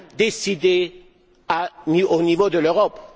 décidée au niveau de l'Europe.